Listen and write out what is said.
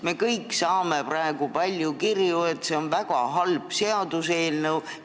Me kõik saame praegu palju kirju, kus öeldakse, et see on väga halb seaduseelnõu.